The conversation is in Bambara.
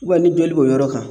ni joli b'o yɔrɔ kan